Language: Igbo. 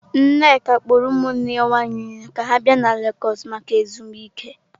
Nneka kpọrọ ụmụnne ya nwanyị niile ka ha bịa legọs maka ezumike.